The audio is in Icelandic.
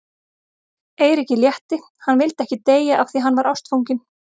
Eiríki létti, hann vildi ekki deyja af því að hann var ástfanginn.